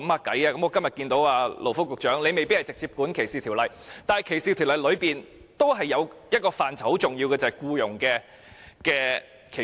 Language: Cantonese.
我今天看到勞福局局長在席，他未必是直接負責歧視條例的，但在歧視條例當中，也是有一個很重要的範疇，便是僱傭歧視。